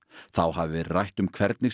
þá hafi verið rætt um hvernig